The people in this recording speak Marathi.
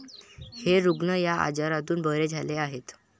हे रुग्ण या आजारातून बरे झाले आहेत.